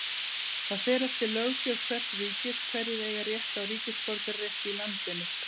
Það fer eftir löggjöf hvers ríkis hverjir eiga rétt á ríkisborgararétti í landinu.